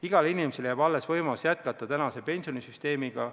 Igale inimesele jääb alles võimalus jätkata teises sambas.